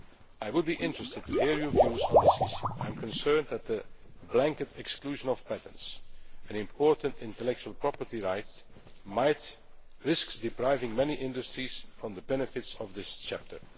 I would be interested to hear your views on this issue. I am concerned that a blanket exclusion of patents an important intellectual property right might risk depriving many industries of the benefits of this chapter.